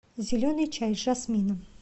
зеленый чай с жасмином